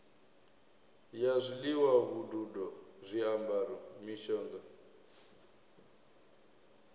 ya zwiḽiwa vhududo zwiambaro mishonga